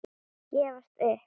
Gefast upp?